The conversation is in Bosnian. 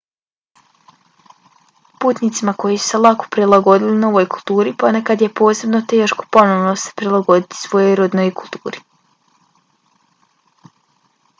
putnicima koji su se lako prilagodili novoj kulturi ponekad je posebno teško ponovno se prilagoditi svojoj rodnoj kulturi